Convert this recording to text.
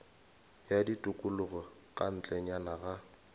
ya tikologo ka ntlenyana ga